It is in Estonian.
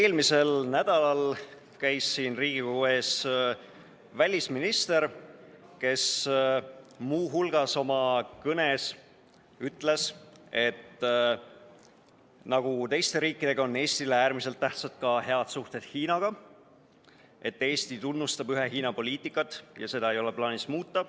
Eelmisel nädalal käis siin Riigikogu ees välisminister, kes muu hulgas oma kõnes ütles, et nagu teistele riikidele, on ka Eestile äärmiselt tähtsad head suhted Hiinaga, et Eesti tunnustab ühe Hiina poliitikat ja seda ei ole plaanis muuta.